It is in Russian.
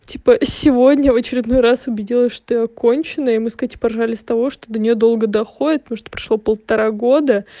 типа сегодня в очередной раз убедилась что я конченая и мы с катей поржали с того что до нее долго доходит потому что прошло полтора года